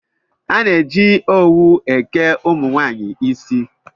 A na-eji owu eke ụmụnwaanyị isi